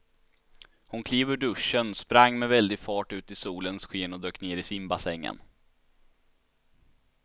Hon klev ur duschen, sprang med väldig fart ut i solens sken och dök ner i simbassängen.